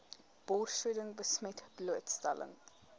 borsvoeding besmet blootstelling